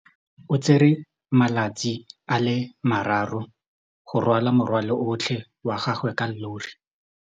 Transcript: O tsere malatsi a le marraro go rwala morwalo otlhe wa gagwe ka llori.